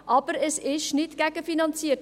Aber es ist nicht gegenfinanziert.